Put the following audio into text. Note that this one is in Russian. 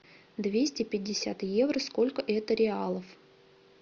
двести пятьдесят евро сколько это реалов